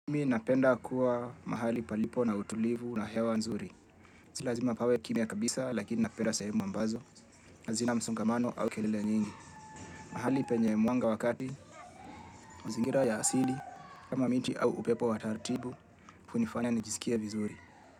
Mimi napenda kuwa mahali palipo na utulivu na hewa nzuri si lazima pawe kimya kabisa lakini napenda sehemu ambazo hazina msongamano au kelele nyingi. Mahali penye mwanga wa kati, mazingira ya asili kama miti au upepo wa taratibu, hunifanya nijisikie vizuri.